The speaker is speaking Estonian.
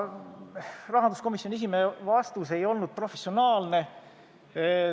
Rahanduskomisjoni esimehe vastus ei olnud professionaalne.